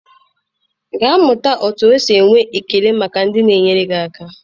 Gaa mụta otu esi enwe ekele maka ndị na-enyere gị aka.